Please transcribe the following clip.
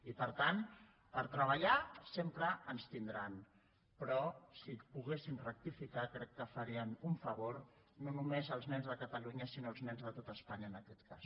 i per tant per treballar sempre ens tindran però si poguessin rectificar crec que farien un favor no només als nens de catalunya sinó als nens de tot espanya en aquest cas